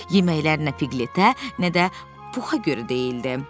Yeməklərin nə Piqletə, nə də Puxa görə deyildi.